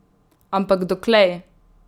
Ampak doklej?